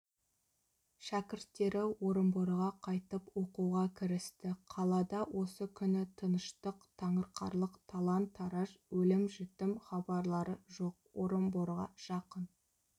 шәкірттері орынборға қайтып оқуға кірісті қалада осы күні тыныштық таңырқарлық талан-тараж өлім-жітім хабарлары жоқ орынборға жақын